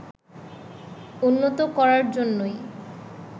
উন্নত করার জন্যই